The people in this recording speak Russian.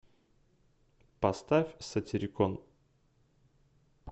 поставь сатирикон